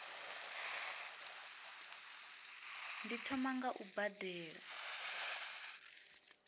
ndi thoma nga u badela